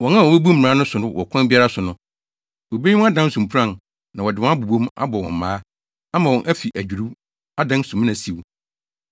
Wɔn a wobebu mmara no so wɔ ɔkwan biara so no, wobeyi wɔn adan so mpuran, na wɔde wɔn abobɔ mu, abɔ wɔn mmaa, ama wɔn afi adwiriw, adan sumina siw.